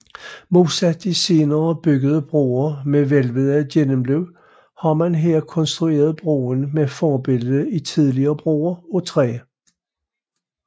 Modsat de senere byggede broer med hvælvede gennemløb har man her konstrueret broen med forbillede i tidligere broer af træ